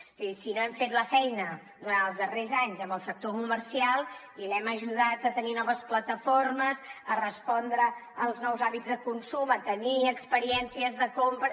és a dir si no hem fet la feina durant els darrers anys en el sector comercial i l’hem ajudat a tenir noves plataformes a respondre als nous hàbits de consum a tenir experiències de compra